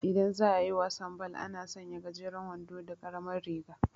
Idan za'ayi wasan bal, ana sanya gajeran wando da karamar riga